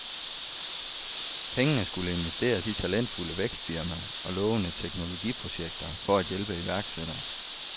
Pengene skulle investeres i talentfulde vækstfirmaer og lovende teknologiprojekter for at hjælpe iværksættere.